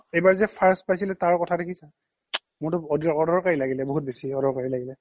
এইবাৰ যে first পাইছিলে তাৰ কথা দেখিছা মোৰটো অদৰ অদৰকাৰী লাগিলে বহুত বেছি অদৰকাৰী লাগিলে